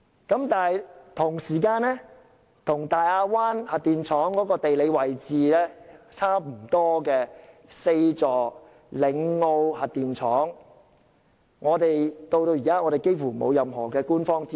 然而，同一時間，與大亞灣核電廠地理位置相若並設有4個核反應堆的嶺澳核電廠，至今幾乎完全沒有任何官方資訊。